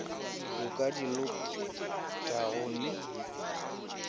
o ka di lotago le